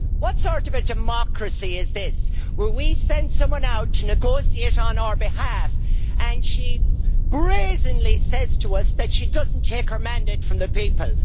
What sort of a democracy is this, where we send someone out to negotiate on our behalf and she brazenly says to us that she does not take her mandate from the people?